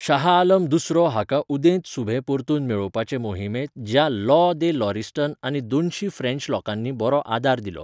शाह आलम दुसरो हाका उदेंत सुभे परतून मेळोवपाचे मोहिमेंत ज्यां लॉ दे लॉरिस्टन आनी दोनशी फ्रेंच लोकांनी बरो आदार दिलो.